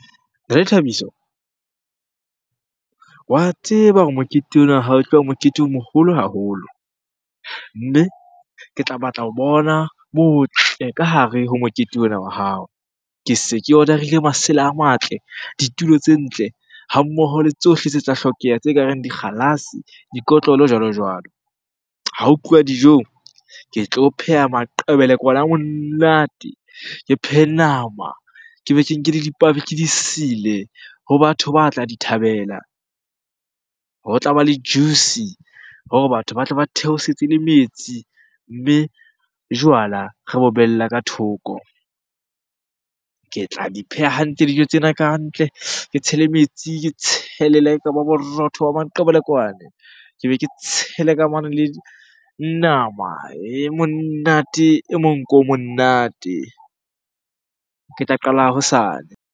Rre thabiso wa tseba hore mokete ona wa hao e tloba mokete o moholo haholo. Mme ke tla batla ho bona botle ka hare ho mokete ona wa hao. Ke se ke order-ile masela a matle, ditulo tse ntle, ha mmoho le tsohle tse tla hlokeha tse ka reng dikgalase, dikotlolo jwalo-jwalo. Ha ho tluwa dijong, ke tlo pheha maqebelekwane a monate, ke phehe nama, ke be ke nke dipabi ke di sile ho batho ba tla di thabela. Ho tlaba le juice hore batho batle ba theosetse le metsi, mme jwala re bo behella ka thoko. Ke tla di pheha hantle dijo tsena ka ntle, ke tshele metsi, ke tshele le ha ekaba borotho ba maqebelekwan. Ke be ke tshele le nama e monate, e monko o monate. Ke tla qala hosane.